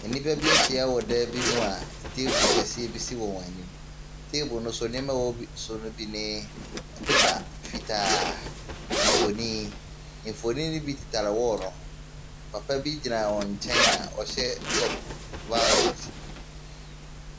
Nnipa bi ahyia wɔ dan bi mu a table kɛseɛ bi si wɔn anim, table ne so nneɛma ɛwɔ bi so ne bi ne paper fitaa, mfonin, mfonin ne bi tetare wall ne ho, papa bi gyina wɔn nkyɛn a ɔhyɛ tɔpo violet.